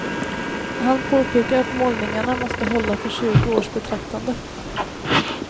Han påpekar att målningarna måste hålla för tjugo års betraktande.